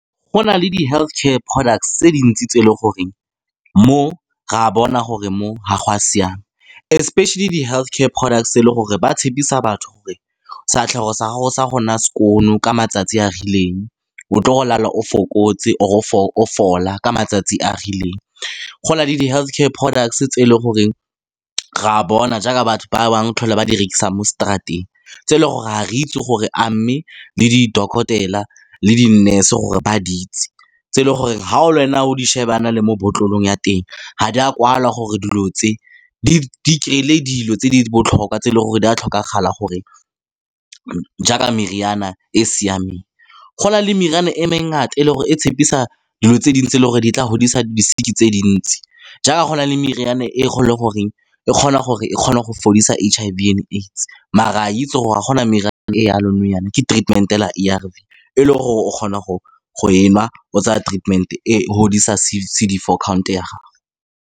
Go na le di-health care product tse dintsi tse e leng gore mo re a bona gore mo ga go a siama, especially di-health care products tse e leng gore ba tshepisa batho gore sefatlhego sa gago sa go nna skoon ka matsatsi a rileng, o tlo go lala o fokotse or o fola ka matsatsi a a rileng. Go na le di-health care products tse e leng gore re a bona jaaka batho ba bangwe tlhole ba di rekisa mo straat-eng, tse e leng gore ga re itse gore a mme le di dokotela le di-nurse gore ba di itse, tse e leng gore ga le wena o di sheba jaana le mo botlolong ya teng, ga di a kwala gore dilo tse di kry-ile dilo tse di botlhokwa tse e leng gore di a tlhokagala jaaka meriana e e siameng. Go na le meriana e me ngata e e leng gore e tshepisa dilo tse dintsi le gore di tla godisa tse dintsi, jaaka go na le meriane e kgonang le gore e kgona gore e kgona go fodisa H_I_V and AIDS, maar ra itse gore a gona meriana e jalo nou jaana, ke treatment A_R_V, e le gore o kgona go e nwa, o tsaya treatment-e, e godisa C_D four count ya gago.